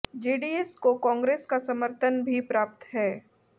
JDS को कांग्रेस का समर्थन भी प्राप्त है